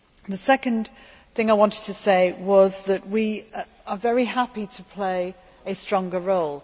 The second thing I wanted to say was that we are very happy to play a stronger role.